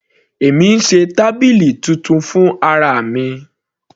Èmi ń ṣe tábìlì titun fún ara mi.